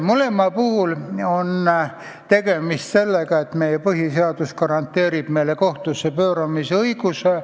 Mõlema puhul on tegemist ka sellega, et põhiseadus garanteerib meile kohtusse pöördumise õiguse.